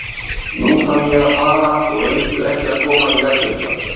Nú þarf ég að fara og reyndu ekki að koma í veg fyrir það.